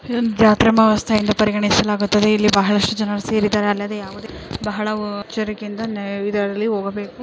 ಇದೊಂದ್ ಜಾತ್ರೆಮಹೋತ್ಸ್ವ ಎಂದು ಪರಿಗಣಿಸಲಾಗುತ್ತದೆ ಇಲ್ಲಿ ಬಹಳಷ್ಟು ಜನರು ಸೇರಿದ್ದಾರೆ.